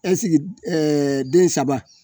den saba